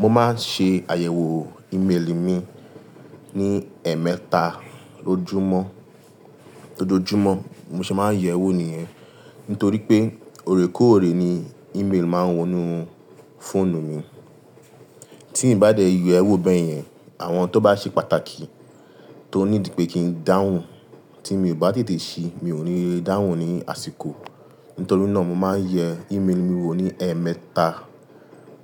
Mo máa ń ṣe àyẹ̀wò email mi ní ẹ̀ẹ̀mẹta lójúmọ́. Lójojúmọ́ mo ṣe máa ń yẹ̀ ẹ́ wò nìyẹn. Nítorí pé òrékóòré ni email máa ń wọ inú fóònù mi. Tí n bá dé yẹ ẹ́ wò bẹ́ẹ̀ yẹn, àwọn ohun tó bá ṣe pàtàkì tó nídi pé kí n dáhùn tí mi ò bá tètè ṣe mi ò ní le dáhùn ní àsìkò. Nítorí náà mo máa ń yẹ email mi wò ní ẹ̀ẹ̀mẹta